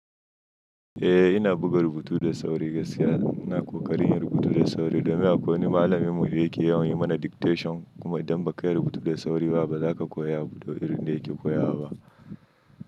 Eh ina buga rubutu da sauri gaskiya. Ina ƙoƙarin yin rubutu da sauri domin akwai wani malamin mu da yake yawan yi mana dictation kuma idan ba ka yi rubutu da sauri ba za ka koyi abubuwan da yake koya ba.